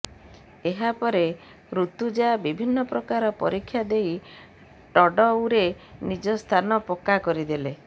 ଏହା ପରେ ଋତୁଜା ବିଭିନ୍ନ ପ୍ରକାର ପରୀକ୍ଷା ଦେଇ ଟଡଉ ରେ ନିଜ ସ୍ଥାନ ପକା କରିଦେଲେ